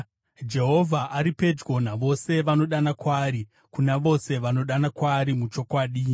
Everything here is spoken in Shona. Jehovha ari pedyo navose vanodana kwaari, kuna vose vanodana kwaari muchokwadi.